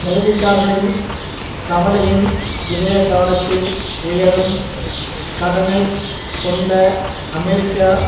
முதலீட்டாளர்களின் கவலையின் இதயத்தானத்தில் உயரும் கடனை கொண்ட அமெரிக்கா